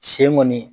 Sen kɔni